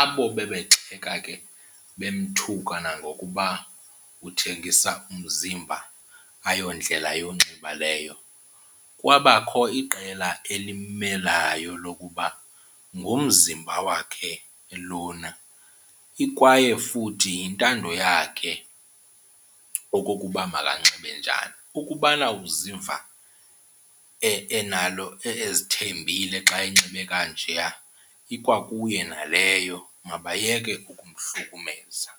Abo bebegxeka ke bemthuka nangokuba uthengisa umzimba ayondlela yonxiba leyo, kwabakho iqela elimmelayo lokuba ngumzimba wakhe lona kwaye futhi yintando yakhe okokuba makanxibe njani. Ukubana uziva enalo, ezithembile xa enxibe kanjeya ikwakuye naleyo mabayeke ukumhlukumeza.